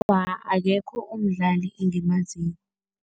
Awa, akekho umdlali engimaziko.